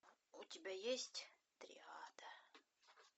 у тебя есть триада